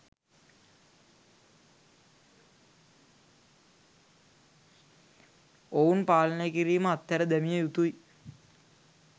ඔවුන් පාලනය කිරීම අත්හැර දැමිය යුතුයි.